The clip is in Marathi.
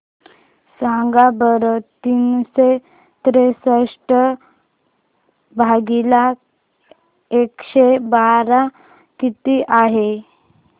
सांगा बरं तीनशे त्रेसष्ट भागीला एकशे बारा किती आहे